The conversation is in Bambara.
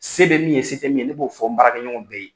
Se bɛ min ye se tɛ min ye ne b'o fɔ n baarakɛ ɲɔgɔnw bɛɛ ye.